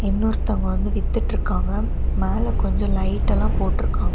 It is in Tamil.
இன்னொருத்தங்க வந்து வித்துட்டு இருக்காங்க மேல கொஞ்சம் லைட் எல்லாம் போட்டு இருக்காங்க.